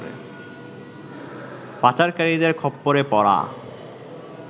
পাচারকারীদের খপ্পরে পড়া